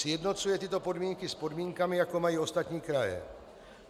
Sjednocuje tyto podmínky s podmínkami, jaké mají ostatní kraje.